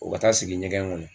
O ka taa sigi ɲɛgɛn ŋɔnɔ